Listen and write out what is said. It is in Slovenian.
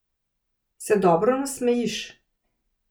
Se dobro nasmejiš.